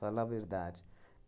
Falar a verdade.